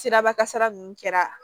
Siraba kasara ninnu kɛra